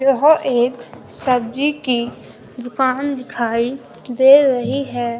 यह एक सब्जी की दुकान दिखाई दे रही हैं।